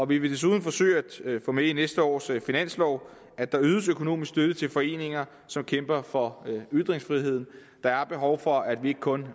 vi vil desuden forsøge at få med i næste års finanslov at der ydes økonomisk støtte til foreninger som kæmper for ytringsfriheden der er behov for at vi ikke kun